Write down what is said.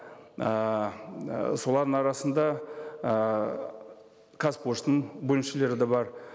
ыыы солардың арасында ыыы қазпоштаның бөлімшелері де бар